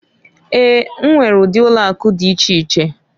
E nwere udi ụlọ akụ dị iche iche.